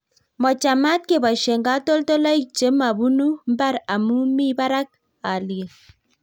Mo chamat keboishe katoltolik che ma punu mbar amu mii barak halyet